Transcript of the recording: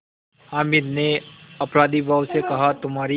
हामिद ने अपराधीभाव से कहातुम्हारी